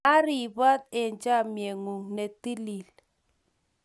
A ribot eng chamnyegung netilil